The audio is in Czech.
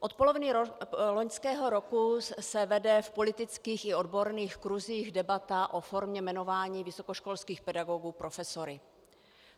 Od poloviny loňského roku se vede v politických i odborných kruzích debata o formě jmenování vysokoškolských pedagogů profesory.